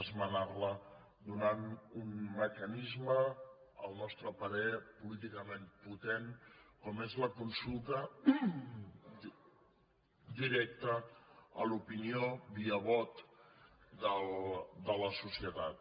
esmenar la donant un mecanisme al nostre parer políticament potent com és la consulta directa a l’opinió via vot de la societat